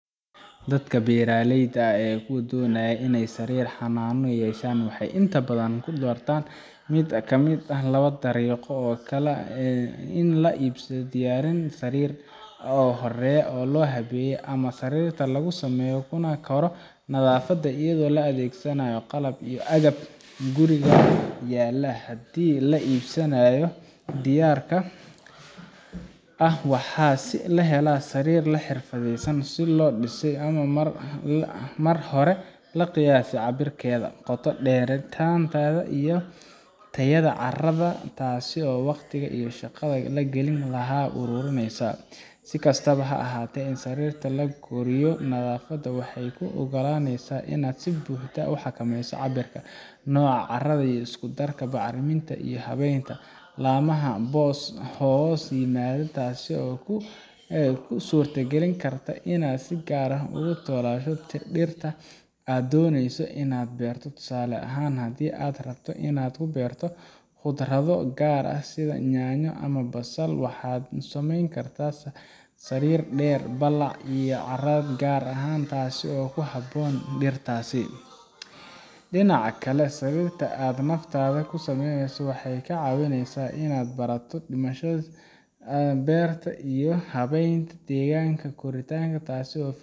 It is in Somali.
dadka beeraleyda ah ama kuwa doonaya inay sariir xanaano yeeshaan waxay inta badan doortaan mid ka mid ah laba dariiqo oo kala ah in la iibsado diyaarin sariir ah oo horay loo habeeyey ama in sariirta lagu sameeyo kuna koro naftaada iyadoo la adeegsanayo qalab iyo agab guriga yaalla haddii la iibsanayo diyaarka ah waxaa la helayaa sariir si xirfadaysan loo dhisay oo mar hore loo qiyaasay cabbirkeeda, qoto dheeraanteeda iyo tayada carrada taasoo waqtiga iyo shaqada la gelin lahaa aad u yareyneysa si kastaba ha ahaatee in sariirta lagu koriyo naftaada waxay kuu oggolaaneysaa inaad si buuxda u xakameyso cabbirka, nooca carrada, isku-darka bacriminta iyo habaynta laamaha hoos yimaada taas oo kuu suurtogelin karta inaad si gaar ah ugu talogasho dhirta aad dooneyso inaad beerto tusaale ahaan haddii aad rabto inaad ku beerto khudrado gaar ah sida yaanyo ama basal waxaad u samayn kartaa sariir dherer, ballac iyo carrad gaar ah leh taas oo ku habboon dhirtaas dhinaca kale sariirta aad naftaada ku samaysato waxay kaa caawineysaa in aad barato dhismaha beerta iyo habaynta deegaanka koritaanka taasoo